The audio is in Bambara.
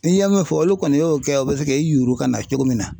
N ye mun fɔ olu kɔni y'o kɛ o bɛ se k'i yuuru ka na cogo min na.